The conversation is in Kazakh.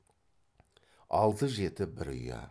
алты жеті бір ұя